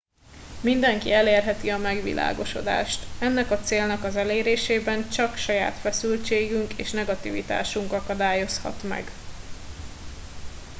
mindenki elérheti a megvilágosodást ennek a célnak az elérésében csak saját feszültségünk és negativitásunk akadályozhat meg